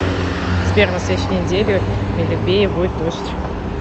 сбер на следующей неделе в белебее будет дождь